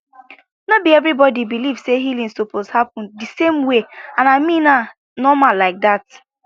no be everybody believe say healing suppose happen the same way and i mean na normal like that